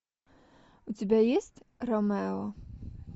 у тебя есть ромео